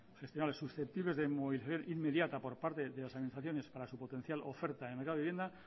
susceptibles de movilización inmediata por parte de las administraciones para su potencial oferta en el mercado de vivienda